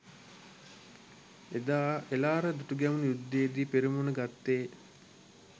එදා එළාර දුටුගැමුණු යුද්ධයේදී පෙරමුණ ගත්තේ